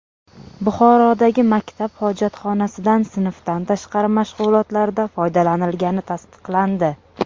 Buxorodagi maktab hojatxonasidan sinfdan tashqari mashg‘ulotlarda foydalanilgani tasdiqlandi.